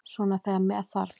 Svona þegar með þarf.